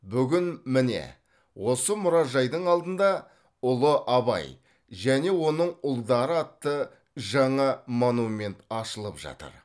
бүгін міне осы мұражайдың алдында ұлы абай және оның ұлдары атты жаңа монумент ашылып жатыр